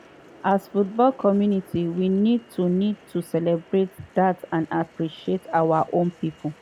“as football community we need to need to celebrate dat and appreciate our own pipo.”